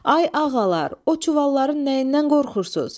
Ay ağalar, o çuvalların nəyindən qorxursuz?